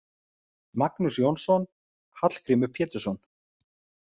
Magnús Jónsson: Hallgrímur Pétursson.